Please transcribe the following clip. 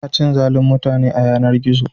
Ana cin zalin mutane a yanar-gizo.